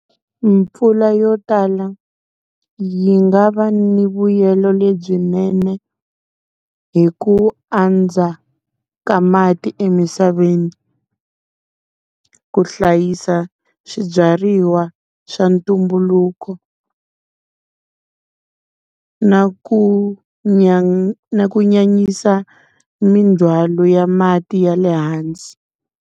Mpfula yo tala yi nga va ni vuyelo lebyinene hi ku andza ka mati emisaveni, ku hlayisa swibyariwa swa ntumbuluko, na ku na ku nyanyisa mindzwalo ya mati ya le hansi.